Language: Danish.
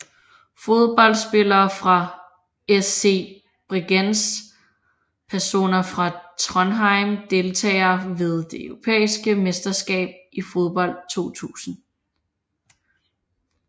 Fodboldspillere fra SC Bregenz Personer fra Trondheim Deltagere ved det europæiske mesterskab i fodbold 2000